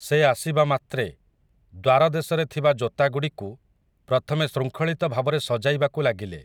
ସେ ଆସିବା ମାତ୍ରେ, ଦ୍ୱାର ଦେଶରେ ଥିବା ଜୋତାଗୁଡ଼ିକୁ, ପ୍ରଥମେ ଶୃଙ୍ଖଳିତ ଭାବରେ ସଜାଇବାକୁ ଲାଗିଲେ ।